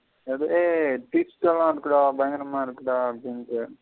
பயங்கரம இருக்குடா அப்பினுட்டு.